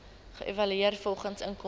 geëvalueer volgens inkomste